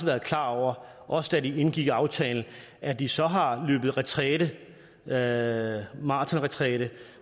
været klar over også da de indgik aftalen at de så har været maratonretræte